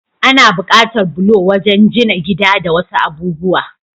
Ana bukatar bulo wajan jina gida da wasu abubuwa.